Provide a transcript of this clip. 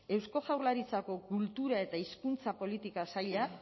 eusko jaurlaritzako kultura eta hizkuntza politika sailak